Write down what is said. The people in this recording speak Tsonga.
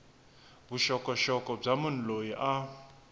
vuxokoxoko bya munhu loyi a